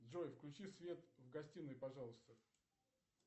джой включи свет в гостиной пожалуйста